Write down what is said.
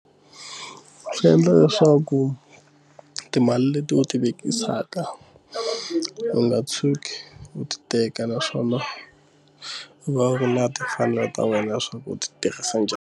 Swi endla leswaku timali leti u ti vekisa mhaka u nga tshuki u ti teka naswona u va u laha timfanelo ta wena leswaku u ti tirhisa njhani.